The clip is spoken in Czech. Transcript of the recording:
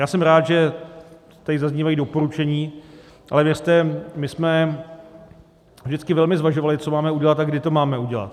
Já jsem rád, že tady zaznívají doporučení, ale věřte, my jsme vždycky velmi zvažovali, co máme udělat a kdy to máme udělat.